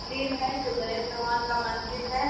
मंदिर है जो गणेश भगवान का मंदिर है।